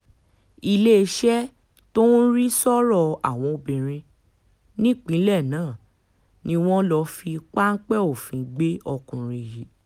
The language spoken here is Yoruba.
iléeṣẹ́ tó ń rí sọ́rọ̀ àwọn obìnrin nípínlẹ̀ náà ni wọ́n lọ́ọ́ fi páńpẹ́ òfin gbé ọkùnrin yìí